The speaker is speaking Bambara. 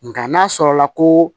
Nka n'a sɔrɔla ko